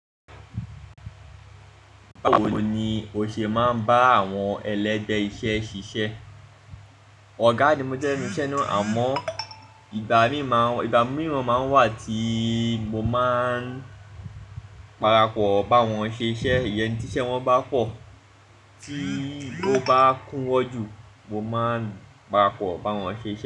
Báwo ni o ṣe máa ń bá àwọn ẹlẹ́gbẹ́ iṣẹ́ ṣiṣẹ́? Ọ̀gá ni mo jẹ́ ninu iṣè náà, àmọ́, igba mii ìgbà mí, o máa n wà tí mo máa ń parápọ̀ bá wọn ṣe iṣẹ́, ìyẹn tí iṣẹ́ wọn bá pọ̀, tí ó bá kún wọ́ jù, mo máa ń parápọ̀ bá wọn ṣe iṣẹ́